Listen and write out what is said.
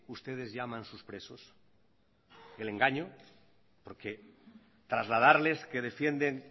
ustedes llaman sus presos el engaño porque trasladarles que defienden